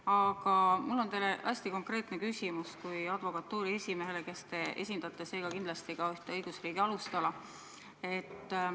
Aga mul on teile hästi konkreetne küsimus kui advokatuuri esimehele, kes te esindate seega kindlasti ka ühte õigusriigi alustala.